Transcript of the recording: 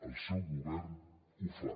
el seu govern ho fa